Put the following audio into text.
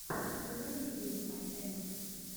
заводи вил ай эма